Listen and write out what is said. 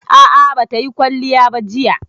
A'a, ba ta yi kwalliya ba jiya